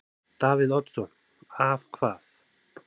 Davíð Oddsson: Að hvað?